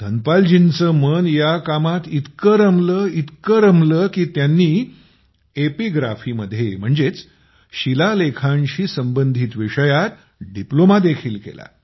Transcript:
धनपाल जींचे मन या कामात इतके रमले इतके रमले की त्यांनी एपिग्राफी मध्ये म्हणजेच शिला लेखांशी संबंधित विषयांत डिप्लोमादेखील केला